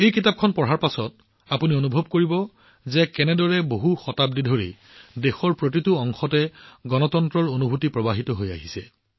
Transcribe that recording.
এই কিতাপখন পঢ়াৰ পিছত আপোনালোকে অনুভৱ কৰিব যে কেনেদৰে বহু শতাব্দী ধৰি দেশৰ প্ৰতিটো প্ৰীতিত গণতন্ত্ৰৰ আত্মা প্ৰবাহিত হৈ আহিছে